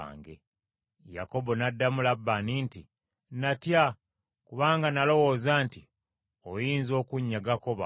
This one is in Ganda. Yakobo n’addamu Labbaani nti, “Natya, kubanga n’alowooza nti oyinza okunnyagako bawala bo.